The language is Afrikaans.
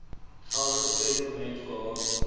geldige testament gehad